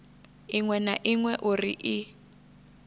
iṅwe na iṅwe uri i